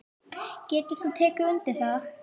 Getur þú tekið undir það?